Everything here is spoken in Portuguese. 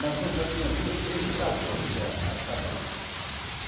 Mas quando só tinha duas, três, não dava para encher as cabaças.